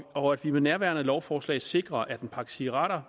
og at vi med nærværende lovforslag sikrer at en pakke cigaretter